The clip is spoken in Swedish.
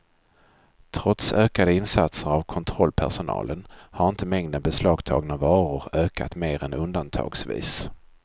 Trots ökade insatser av kontrollpersonalen har inte mängden beslagtagna varor ökat mer än undantagsvis.